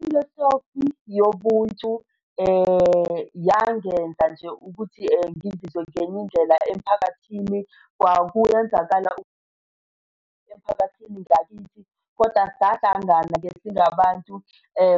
Ifilosofi yobuntu yangenza nje ukuthi ngizizwe ngenye indlela emphakathini. Kwakuyenzakala emphakathini wangakithi kodwa sahlangani-ke singabantu